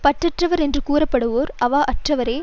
பற்றற்றவர் என்று கூறப்படுவோர் அவா அற்றவரே